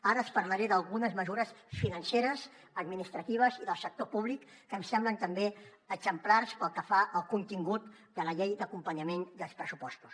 ara els parlaré d’algunes mesures financeres administratives i del sector públic que em semblen també exemplars pel que fa al contingut de la llei d’acompanyament dels pressupostos